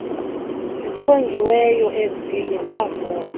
zichongiweyo eziye zavota